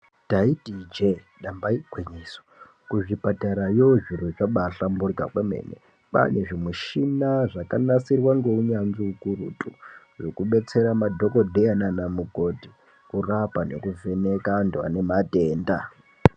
Taiti ije damba igwinyiso kuzvipatarayo zviro zvabahlamburika kwemene. Kwane zvimushina zvakanasirwa neunyanzvi ukurutu zvekudetsera madhokodheya nana mukoti kurapa nekuvheneka antu ane matenda.